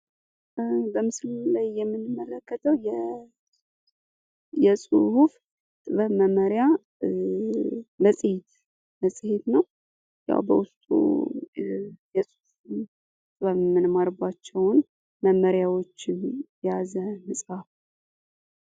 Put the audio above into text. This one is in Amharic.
በምስሉ ላይ የምንመለከተው የጽሁፍ ጥበብ መመሪያ መጽሄት ነው ። ያው በውስጡ የጽሁፍ ጥበብን የምንማርባቸውን መመሪያዎችን የያዘ መጽሐፍ